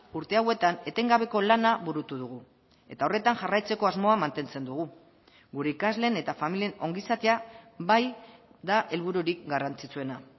urte hauetan etengabeko lana burutu dugu eta horretan jarraitzeko asmoa mantentzen dugu gure ikasleen eta familien ongizatea bai da helbururik garrantzitsuena